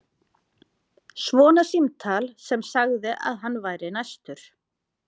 Svona símtal sem sagði að hann væri næstur.